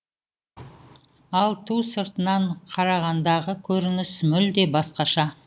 ал ту сыртынан қарағандағы көрініс мүлде басқаша